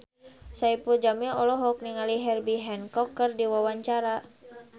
Saipul Jamil olohok ningali Herbie Hancock keur diwawancara